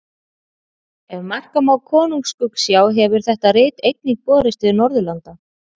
Ef marka má Konungs skuggsjá hefur þetta rit einnig borist til Norðurlanda.